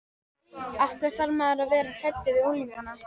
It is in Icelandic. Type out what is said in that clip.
Og hvar var hið vesturheimska varnarlið?